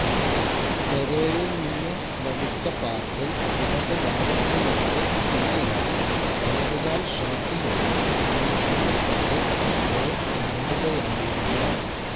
പെരെയിൽ നിന്ന് ലഭിച്ച പാസിൽ ഇടതു ഭാഗത്തിലൂടെ മുന്നേറി വലതുകാൽ ഷോട്ടിലൂടെ ദിമിത്രി പയേറ്റ് ഗോൾ നേടുകയായിരുന്നു